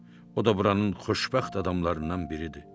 O da buranın xoşbəxt adamlarından biridir.